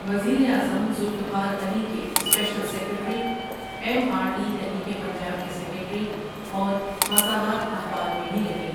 وزیر اعظم ذوالفقار علی کے special secretary, M R D تحریک پنجاب کے سیکرٹری اور مساوات اخبار میں بھی رہے ۔